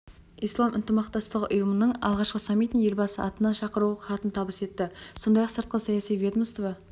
ислам ынтымақтастығы ұйымының алғашқы саммитіне елбасы атынан шақыру хатын табыс етті сондай-ақ сыртқы саяси ведомство